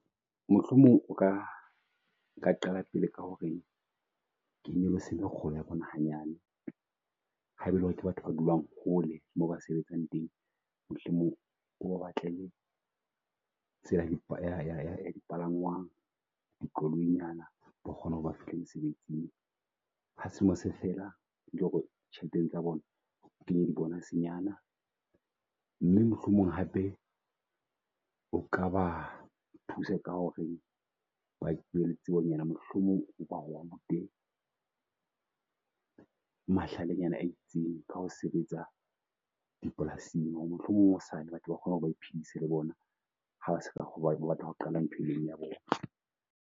Mohlomong o ka o ka qala pele ka hore ke nyolose mekgolo ya bona hanyane. Haebe e lore ke batho ba dulang hole moo ba sebetsang teng, mohlomong o batlang tsela ya di palangwang. Di koloi nyana ba kgone ho re ba fihla mosebetsing. Ha selemo se fela hore tjhelete tsa bona kenye di bonus-nyana. Mme mohlomong hape o ka ba thusa ka hore bonyane mohlomong o ba rute mahlale nyana a itseng ka ho sebetsa dipolasing. Mohlomong hosane batho ba kgona ho baphidise le bona haba batla ho qala ntho e meng ya bona.